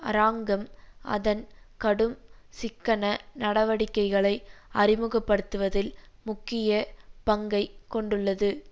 அராங்கம் அதன் கடும் சிக்கன நடவடிக்கைகளை அறிமுகப்படுத்துவதில் முக்கிய பங்கை கொண்டுள்ளது